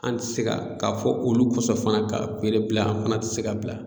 An tɛ se ka k'a fɔ olu kɔsɔn fana ka feere bila an fana tɛ se k'a bila.